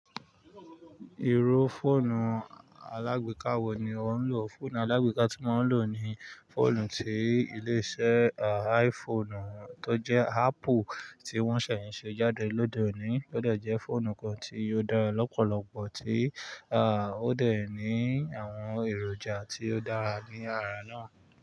Irú fóònù alágbèéká wo ni ò ń lò? Fóònù alágbèéká tí mo ń lò ni fóònù tí ilé iṣẹ́ iPhone tó jẹ́ Apple tí wọ́n ṣẹ̀ n ṣe jáde lóde òní. Ó de je fóònù kan tí ó dára lọ́pọ̀lọpọ̀ tí ó de ní àwọn èròjà tí ó dára ní ara náà.